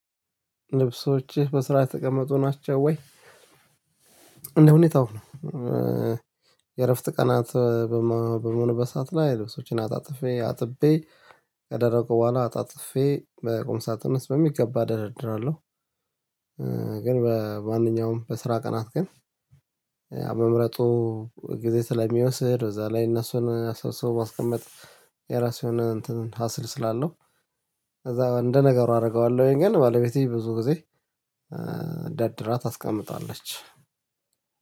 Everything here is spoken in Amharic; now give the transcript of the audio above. ልብሶችህ በስአራ ተቀመጡ ናቸው ወይ? እንደ ሁኔታው ነው። የእረፍት ቀናት በመምሆንበት በሰአት ላይ ልብሶችን አጣጥፌ አጥቤ አድርቄ በኋላ አጣጥፌ በቁም ሳጥነስ በሚገባ እደራድራለሁ። ግን በማንኛውም በስራ ቀናት ግን መምረጡ ጊዜ ስለሚወስድ በዛ ላይ እነሱን አሰብስቦ ማስቀመጥ የራሱ የሆነ እንትን ሀስል ስላለው ከዛ እንደ ነገሩ አደርገዋለሁ ወይም ግን ባለቤቴ ብዙ ጊዜ ደርድራ። ታስቀምጣለች